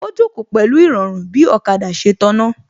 Ó jókòó pẹ̀lú Ìrọ̀rùn bí ọ̀kada ṣe tàná